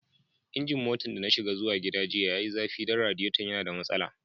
Injin motan da na shiga zuwa gida jiya ya yi zafi dan radiyaton ya na da masala.